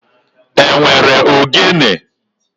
E nwere ogene